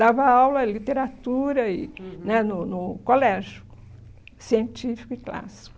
Dava aula, literatura, e, uhum, né no no colégio, científico e clássico.